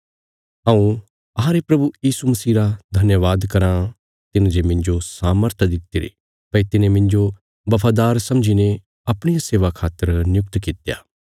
हऊँ अहांरे प्रभु यीशु मसीह रा धन्यवाद कराँ तिने जे मिन्जो सामर्थ दित्तिरी भई तिने मिन्जो बफादार समझीने अपणिया सेवा खातर नियुक्त कित्या